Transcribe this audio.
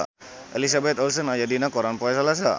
Elizabeth Olsen aya dina koran poe Salasa